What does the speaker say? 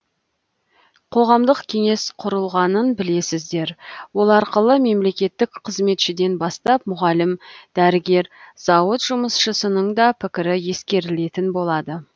қоғамдық кеңес құрылғанын білесіздер ол арқылы мемлекеттік қызметшіден бастап мұғалім дәрігер зауыт жұмысшысының да пікірі ескерілетін болады